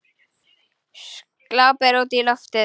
Glápir útí loftið.